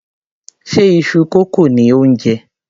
Ṣe iṣu kókò ni ò ń jẹ?